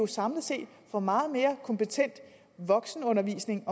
samlet set får meget mere kompetent voksenundervisning